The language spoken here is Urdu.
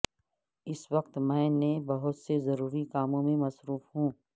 اس وقت میں نے بہت سے ضروری کاموں میں مصروف ہوں